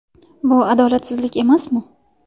Bu adolatsizlik emasmi?